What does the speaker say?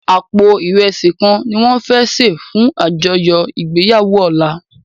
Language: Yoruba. Àpó irèsí kán niwòn fè sé fún ájòyò igbéyàwó òlá